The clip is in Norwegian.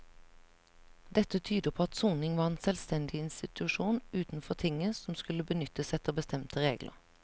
Dette tyder på at soning var en selvstendig institusjon utenfor tinget som skulle benyttes etter bestemte regler.